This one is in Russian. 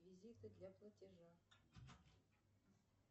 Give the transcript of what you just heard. реквизиты для платежа